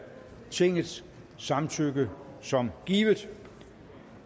tingets samtykke som givet